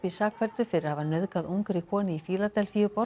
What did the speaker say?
sakfelldur fyrir að hafa nauðgað ungri konu í